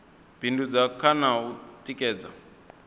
bindudza kha na u tikedza